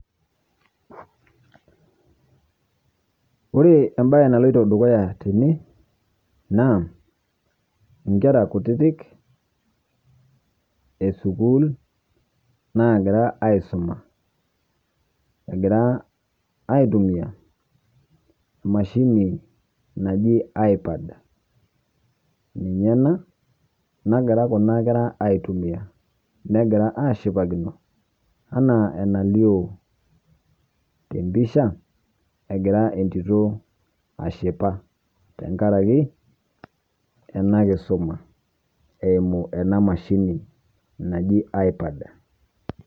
Ore embaye naloitoo dukuya tene naa nkerra kutitiik e sukuul nagira aisoma. Egira aitumia emashini najii Ipad ninye ana negira kuna nkerra aitumia. Negira ashipakino ana enaieo te mpisha egira entito ashipaa teng'araki ena nkisoma eimuu ena mashini najii Ipad.